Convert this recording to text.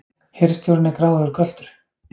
Hirðstjórinn er gráðugur göltur!